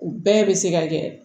U bɛɛ bɛ se ka kɛ